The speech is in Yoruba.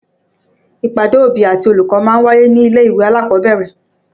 Ìpàdé òbí àti olùkọ́ ma ń wáyé nílé-ìwé alákọ̀ọ́bẹ̀rẹ̀